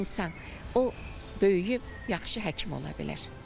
İnsan, o böyüyüb yaxşı həkim ola bilər.